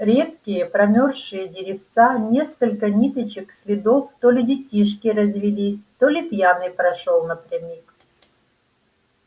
редкие промёрзшие деревца несколько ниточек следов то ли детишки развелись то ли пьяный прошёл напрямик